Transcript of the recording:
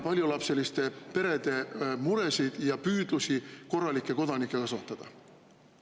… paljulapseliste perede muresid ja püüdlusi korralikke kodanikke kasvatada?